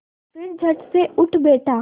फिर झटसे उठ बैठा